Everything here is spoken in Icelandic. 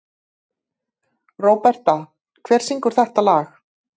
Róberta, hver syngur þetta lag?